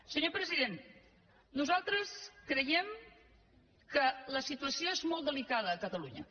senyor president nosaltres creiem que la situació és molt delicada a catalunya